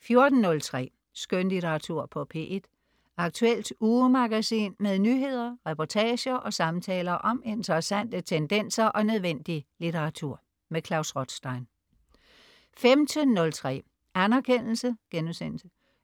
14.03 Skønlitteratur på P1. Aktuelt ugemagasin med nyheder, reportager og samtaler om interessante tendenser og nødvendig litteratur. Klaus Rothstein 15.03 Anerkendelse*